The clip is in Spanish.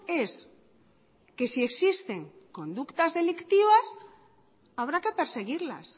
es que si existen conductas delictivas habrá que perseguirlas